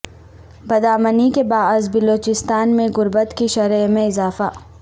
بدامنی کے باعث بلوچستان میں غربت کی شرح میں اضافہ